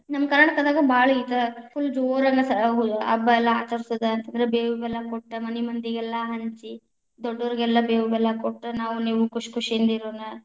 ನಮ್ಮ ಕನಾ೯ಟಕದಾಗ ಭಾಳ ಈ ತರ full ಜೋರಾಗಿ ಹಾ ಹಬ್ಬಾ ಎಲ್ಲಾ ಆಚರಿಸೋದ್‌ ಅಂದ್ರ ಬೇವು ಬೆಲ್ಲಾ ಕೊಟ್ಟ ಮನಿ ಮಂದಿಗೆಲ್ಲಾ ಹಂಚಿ, ದೊಡ್ಡೊರಗೆಲ್ಲಾ ಬೇವು ಬೆಲ್ಲಾ ಕೊಟ್ಟ ನಾವ್‌ ನಿವ್‌ ಖುಷಿ ಖುಷಿಯಿಂದ ಇರೋಣ.